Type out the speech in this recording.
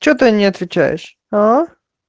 что ты не отвечаешь а